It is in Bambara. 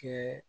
Kɛ